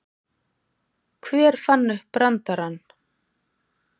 Hver fann upp brandarann?